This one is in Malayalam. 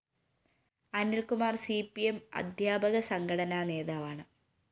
അനില്‍കുമാര്‍ സി പി എം അധ്യാപക സംഘടനാ നേതാവാണ്